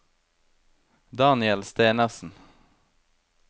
Daniel Stenersen